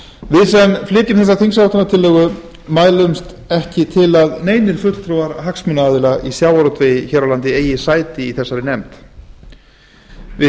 við sem flytjum þingsályktunartillöguna mælumst ekki til að neinir fulltrúar hagsmunaaðila í sjávarútvegi hér á landi eigi sæti í nefndinni við